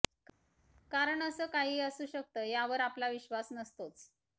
कारण असं काही असू शकत ह्यावर आपला विश्वास नसतोच